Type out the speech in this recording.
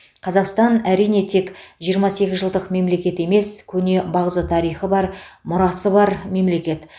қазақстан әрине тек жиырма сегіз жылдық мемлекет емес көне бағзы тарихы бар мұрасы бар мемлекет